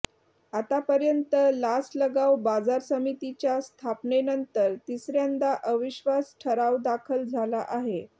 आतापर्यंत लासलगाव बाजार समितीच्या स्थापनेनंतर तिसर्यांदा अविश्वास ठराव दाखल झाला आहे